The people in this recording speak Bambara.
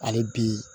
Hali bi